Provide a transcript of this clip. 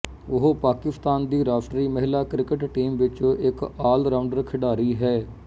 ਉਹ ਪਾਕਿਸਤਾਨ ਦੀ ਰਾਸ਼ਟਰੀ ਮਹਿਲਾ ਕ੍ਰਿਕਟ ਟੀਮ ਵਿੱਚ ਇੱਕ ਆਲਰਾਊਂਡਰ ਖਿਡਾਰੀ ਹੈ